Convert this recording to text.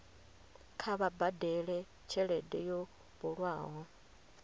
kha vha badele tshelede yo bulwaho